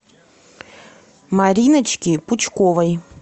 мариночки пучковой